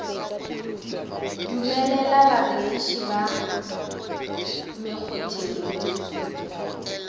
dumelela barekiši ba mekgotheng le